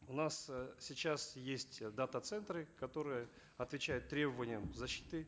у нас э сейчас есть э дата центры которые отвечают требованиям защиты